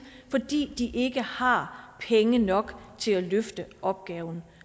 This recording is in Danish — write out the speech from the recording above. fordi de ikke har penge nok til at løfte opgaven